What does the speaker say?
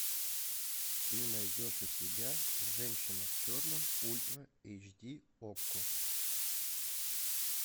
ты найдешь у себя женщина в черном ультра эйчди окко